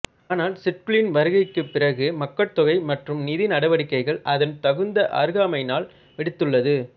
ஆனால் சிட்குலின் வருகைக்குப் பிறகு மக்கட்தொகை மற்றும் நிதி நடவடிக்கைகள் அதன் தகுந்த அருகாமையினால் வெடித்துள்ளது